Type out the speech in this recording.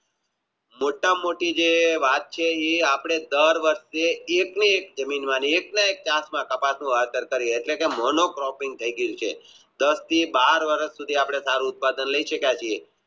મોટા માં મોટી જે રાત છે એ અપને ડેર વખતે એક ની એક એકના એક મોનો પ્રોપિન્ગ થઈ ગયું છે દાસ થી બાર વર્ષ સુધી આપણે સારું ઉત્પાદન લય શક્યા છીએ